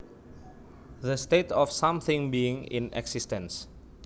The state of something being in existence